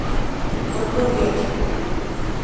добровет